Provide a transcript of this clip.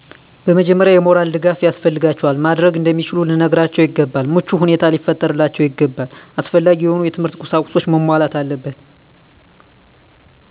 በመጀመሪያ የሞራል ድጋፍ ያስፈልጋቸዋል። ማድረግ እንደሚችሉ ልንነግራቸው ይገባል። ምቹ ሁኔታ ሊፈጠርላቸው ይገባል። አስፈላጊ የሆኑ የትምህርት ቁሳቁሶች መሟላት አለበት።